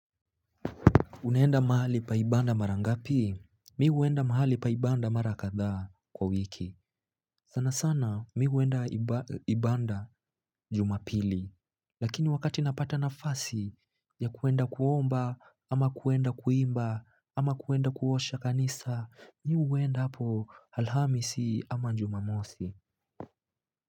Unaenda mahali pa ibanda mara ngapi? Mi huenda mahali pa ibanda marakathaa, kwa wiki. Sana sana mi huenda ibanda jumapili Lakini wakati napata nafasi, ya kuenda kuomba, ama kuenda kuimba ama kuenda kuosha kanisa, Mi uenda hapo alhamsii ama njumamosi.